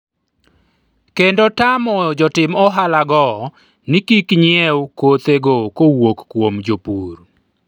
kendo tamo jotim ohala go ni kik nyiew kothego kowuok kuom jopur